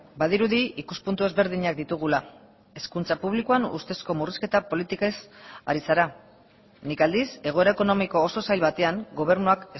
badirudi ikuspuntu ezberdinak ditugula hezkuntza publikoan ustezko murrizketa politikez ari zara nik aldiz egoera ekonomiko oso zail batean gobernuak